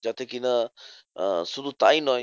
যাতে কি না? আহ শুধু তাই নয়